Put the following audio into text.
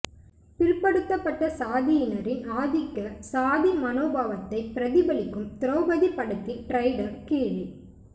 பிற்படுத்தப்பட்ட சாதியினரின் ஆதிக்க சாதி மனோபாவத்தை பிரதிபலிக்கும் திரௌபதி படத்தின் ட்ரெய்லர் கீழே